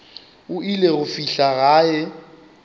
o ile go fihla gae